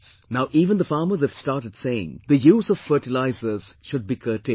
Now even the farmers have started saying the use of fertilisers should be curtailed